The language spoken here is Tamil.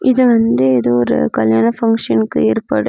இது வந்து ஏதோ ஒரு கல்யாண ஃபங்ஷன்க்கு ஏற்பாடு.